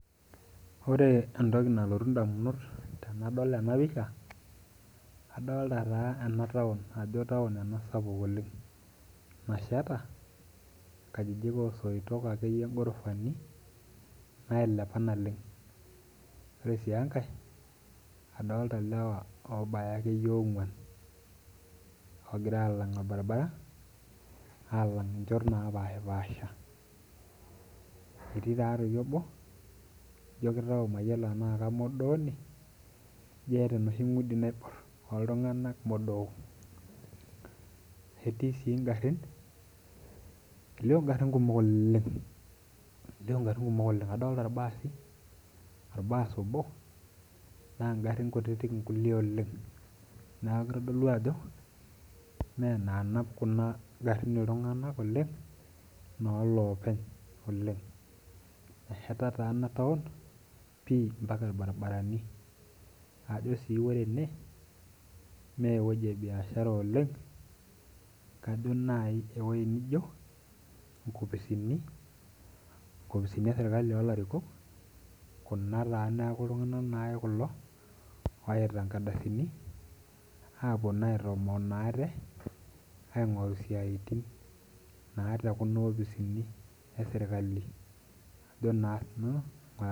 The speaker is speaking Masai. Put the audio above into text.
Ore entoki nalotu indamunot tenadol ena pisha adolta taa ena town ajo town ena sapuk oleng nasheta inkajijik osoitok akeyie ghorofani nailepa naleng ore sii enkae adolta ilewa obaya akeyie ong'uan ogira alang orbaribara alang inchot napashipasha etii taa toi obo lijio kitau mayiolo enaa kamodooni ijo eeta enoshi ng'udi naiborr oltung'anak modook etii sii ingarrin elio ingarrin kumok oleng, elio ingarrin kumok oleng adolta irbaasi orbas obo naa ingarrin kutitik nkulie oleng naa kitodolu ajo mee inaanap kuna garrin iltung'anak oleng inolopeny oleng nesheta taa ena town pii mpaka irbaribarani ajo sii wore ene mee ewueji e biashara oleng kajo nai ewoji nijo inkopisini, inkopisini esirkali olarikok kuna taa neku iltung'anak naake kulo oyaita inkardasini apuo naa aitomonoa ate aing'oru isiaitin naa te kuna opisini esirkali ajo nanu.